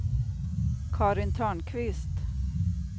Karin Törnqvist